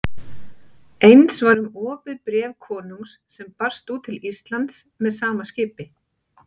Eins var um opið bréf konungs sem barst út til Íslands með sama skipi.